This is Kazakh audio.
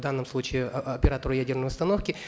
в данном случае оператору ядерной установки